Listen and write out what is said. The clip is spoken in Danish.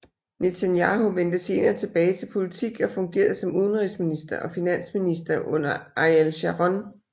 Netanyahu vendte senere tilbage til politik og fungerede som udenrigsminister og finansminister under Ariel Sharon